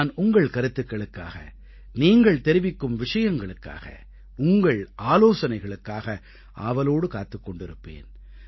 நான் உங்கள் கருத்துக்களுக்காக நீங்கள் தெரிவிக்கும் விஷயங்களுக்காக உங்கள் ஆலோசனைகளுக்காக ஆவலோடு காத்துக் கொண்டிருப்பேன்